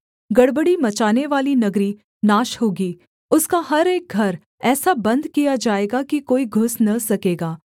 गड़बड़ी मचानेवाली नगरी नाश होगी उसका हर एक घर ऐसा बन्द किया जाएगा कि कोई घुस न सकेगा